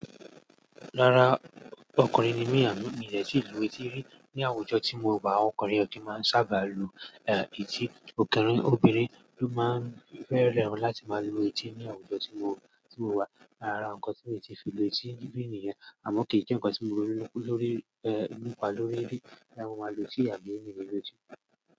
Rárá, ọkùnrin ni mi a mi de ti lu etí rí ni àwùjọ tí mo wà, ọkùnrin ọ ki máa ń sábà lu etí. Òkèèrè obìnrin ló máa ń fẹ́ràn láti máa lu etí ní àwùjọ tí mo wà. Ara ǹkan tí mi ti fi lu etí níbi nìyẹn àmọ́ ke je ǹkan tí mo nípa lórí rí bóyá mo ma lu etí àbí mi lu etí.